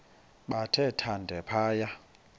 bathe thande phaya